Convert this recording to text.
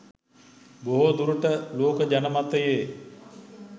බොහෝ දුරට ලෝක ජන මතයේ